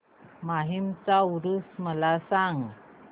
माहीमचा ऊरुस मला सांग